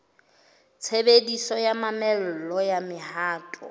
tshebediso ya mamello ya mohato